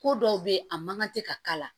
Ko dɔw bɛ yen a mankan tɛ ka k'a la